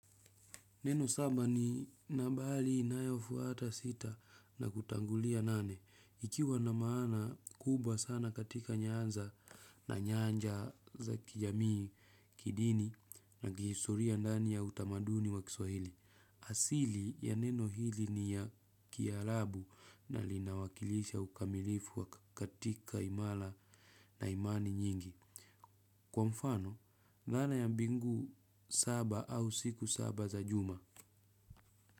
Neno saba ni nabali inayofuata sita na kutangulia nane. Ikiwa na maana kubwa sana katika nyanza na nyanja za kijamii kidini na kihistoria ndani ya utamaduni wa kiswahili. Asili ya neno hili ni ya kialabu na linawakilisha ukamilifu wa katika imala na imani nyingi. Kwa mfano, nana ya mbingu saba au siku saba za juma.